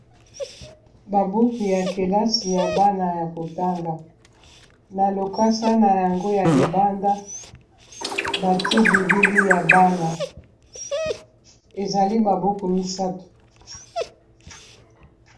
Ba buku ya kelasi ya bana ya kotanga na lokasa na yango ya libanda bati bilili ya bana ezali ba buku misato